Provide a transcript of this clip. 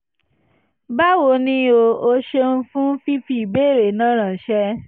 báwo ni o? o ṣeun fún fífi ìbéèrè náà ránṣẹ́